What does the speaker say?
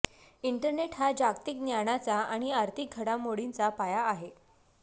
internet हे जागतिक ज्ञानाचा आणि आर्थिक घडामोडींचा पाया आहे